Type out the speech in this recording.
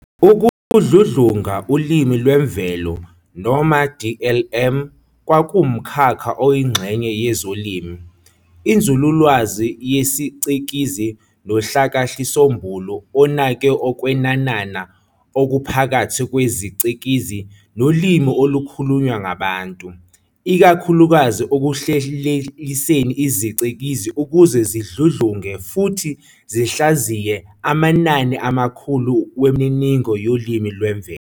Ukudludlunga ulimi lwemvelo, noma DLM, kuwumkhakha oyingxenye yezolimi, inzululwazi yesicikizi, nohlakahlisombulu onake ukwenanana okuphakathi kwezicikizi nolimi olukhulunywa ngabantu, ikakhulukazi ekuhleleliseni izicikizi ukuze zidludlunge futhi zihlaziye amanani amakhulu wemininingo yolimi lwemvelo.